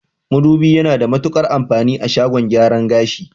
Madubi yana da matuƙar amfani a shagon gyaran gashi